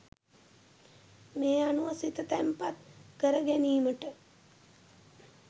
මේ අනුව සිත තැන්පත් කරගැනීමට